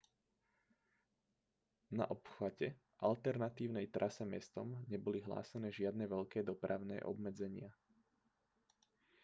na obchvate alternatívnej trase mestom neboli hlásené žiadne veľké dopravné obmedzenia